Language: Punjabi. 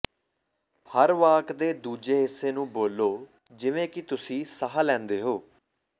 ਹਰ ਵਾਕ ਦੇ ਦੂਜੇ ਹਿੱਸੇ ਨੂੰ ਬੋਲੋ ਜਿਵੇਂ ਕਿ ਤੁਸੀਂ ਸਾਹ ਲੈਂਦੇ ਹੋ